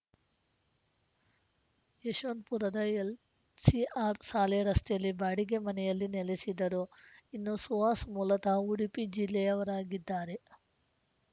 ಯಶವಂತಪುರದ LCR ಶಾಲೆ ರಸ್ತೆಯಲ್ಲಿ ಬಾಡಿಗೆ ಮನೆಯಲ್ಲಿ ನೆಲೆಸಿದ್ದರು ಇನ್ನು ಸುಹಾಸ್‌ ಮೂಲತಃ ಉಡುಪಿ ಜಿಲ್ಲೆಯವರಾಗಿದ್ದಾರೆ